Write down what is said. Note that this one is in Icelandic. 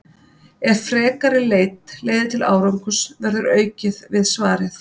Ef frekari leit leiðir til árangurs verður aukið við svarið.